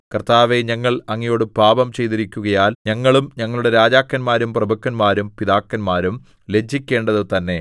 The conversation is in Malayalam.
കർത്താവേ ഞങ്ങൾ അങ്ങയോട് പാപം ചെയ്തിരിക്കുകയാൽ ഞങ്ങളും ഞങ്ങളുടെ രാജാക്കന്മാരും പ്രഭുക്കന്മാരും പിതാക്കന്മാരും ലജ്ജിക്കേണ്ടതു തന്നെ